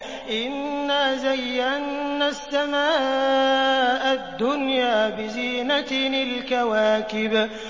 إِنَّا زَيَّنَّا السَّمَاءَ الدُّنْيَا بِزِينَةٍ الْكَوَاكِبِ